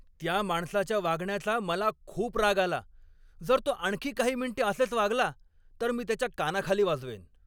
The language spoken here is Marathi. त्या माणसाच्या वागण्याचा मला खूप राग आला. जर तो आणखी काही मिनिटे असेच वागला तर मी त्याच्या कानाखाली वाजवेन.